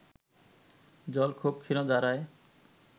জল খুব ক্ষীণধারায়